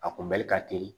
A kunbɛli ka teli